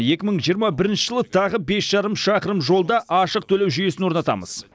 екі мың жиырма бірінші жылы тағы бес жарым шақырым жолда ашық төлеу жүйесін орнатамыз